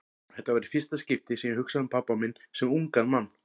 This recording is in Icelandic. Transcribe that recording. Þetta var í fyrsta skipti sem ég hugsaði um pabba minn sem ungan mann.